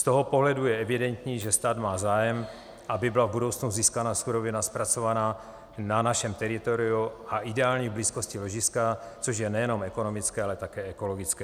Z tohoto pohledu je evidentní, že stát má zájem, aby byla v budoucnu získána surovina zpracovaná na našem teritoriu a ideálně v blízkosti ložiska, což je nejenom ekonomické, ale také ekologické.